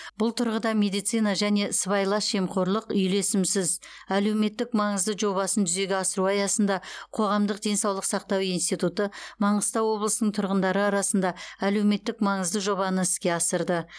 бұл тұрғыда медицина және сыбайлас жемқорлық үйлесімсіз әлеуметтік маңызды жобасын жүзеге асыру аясында қоғамдық денсаулық сақтау институты маңғыстау облысының тұрғындары арасында әлеуметтік маңызды жобаны іске асырды